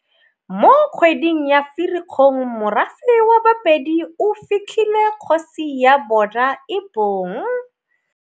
Mo kgweding ya Firikgong morafe wa Bapedi o fitlhile kgosi ya bona e bong